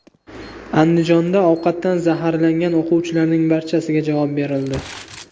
Andijonda ovqatdan zaharlangan o‘quvchilarning barchasiga javob berildi.